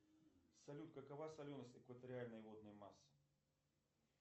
салют какова соленость экваториальной водной массы